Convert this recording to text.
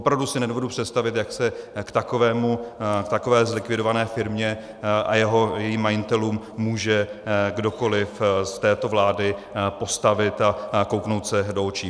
Opravdu si nedovedu představit, jak se k takové zlikvidované firmě a jejím majitelům může kdokoliv z této vlády postavit a kouknout se do očí.